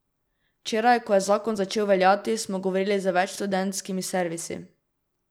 Včeraj, ko je zakon začel veljati, smo govorili z več študentskimi servisi.